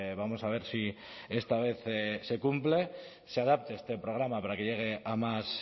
vamos a ver si esta vez se cumple se adapte este programa para que llegue a más